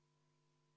Austatud Riigikogu!